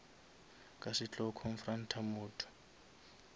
ka se tlo confront motho